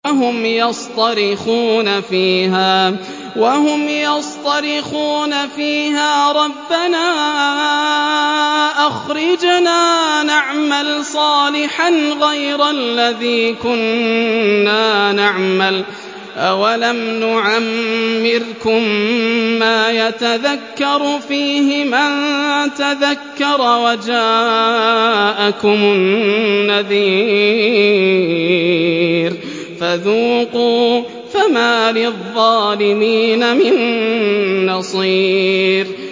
وَهُمْ يَصْطَرِخُونَ فِيهَا رَبَّنَا أَخْرِجْنَا نَعْمَلْ صَالِحًا غَيْرَ الَّذِي كُنَّا نَعْمَلُ ۚ أَوَلَمْ نُعَمِّرْكُم مَّا يَتَذَكَّرُ فِيهِ مَن تَذَكَّرَ وَجَاءَكُمُ النَّذِيرُ ۖ فَذُوقُوا فَمَا لِلظَّالِمِينَ مِن نَّصِيرٍ